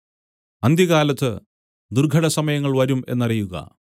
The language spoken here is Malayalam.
അന്ത്യകാലത്ത് ദുർഘടസമയങ്ങൾ വരും എന്നറിയുക